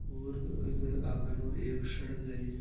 ओर इक आगे एक सड़क जा रही है।